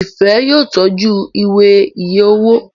Ifẹ yóò tọjú Ìwé iye owó.